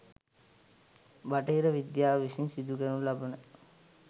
බටහිර විද්‍යාව විසින් සිදු කරනු ලබන